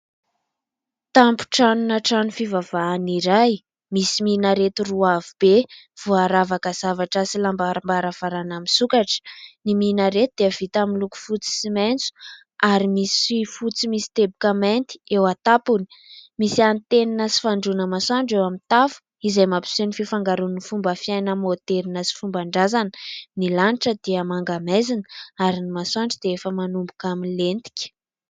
Tampon-tranona trano fivavahana iray. Misy minareto roa avo be, voaravaka zavatra sy lamba arom-baravarana misokatra. Ny minareto dia vita avy amin'ny loko fotsy sy maitso ary misy fotsy misy teboka mainty eo an-tampony. Misy antenina sy fandroana masoandro eo amin'ny tafo izay mampiseho ny fifangaroan'ny fomba fiaina maoderina sy fomban-dràzana. Ny lanitra dia manga maizina ary ny masoandro dia efa manomboka milentika.